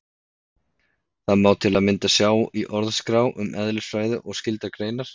Þetta má til að mynda sjá í Orðaskrá um eðlisfræði og skyldar greinar.